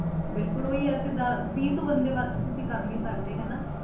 ਬਿਲਕੁਲ ਉਹੀ ਹੈ ਕਿ ਜ਼ਿਆ~ ਵੀਹ ਤੋਂ ਬੰਦੇ ਵੱਧ ਤੁਸੀਂ ਕਰ ਨੀ ਸਕਦੇ ਹਨਾ।